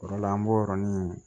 O de la an b'o yɔrɔnin